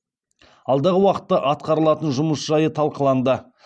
алдағы уақытта атқарылатын жұмыс жайы талқыланды